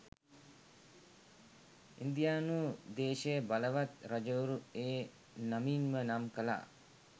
ඉන්දියානු දේශය බලවත් රජවරු ඒ නමින්ම නම් කළා.